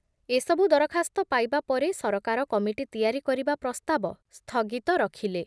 ଏ ସବୁ ଦରଖାସ୍ତ ପାଇବା ପରେ ସରକାର କମିଟି ତିଆରି କରିବା ପ୍ରସ୍ତାବ ସ୍ଥଗିତ ରଖିଲେ ।